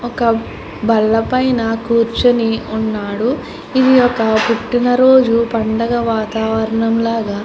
ఒక బల్ల పైన కూర్చుని ఉన్నాడు ఇది ఒక పుట్టినరోజు పండగ వాతావరణం లాగా --